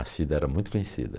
A Cida era muito conhecida.